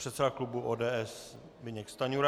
Předseda klubu ODS Zbyněk Stanjura.